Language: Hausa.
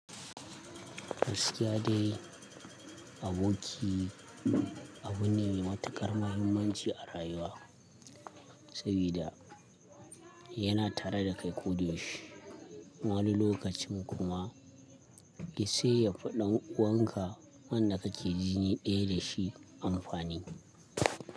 Gaskiya dai aboki abu ne mai matuƙar mahimmanci a rayuwa sabida yana tare da kai ko da yaushe. Kuma wani lokacin kuma ya sa ya faɗan uwanka wanda kake jini ɗaya da shi amfani.